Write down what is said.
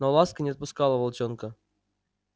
но ласка не отпускала волчонка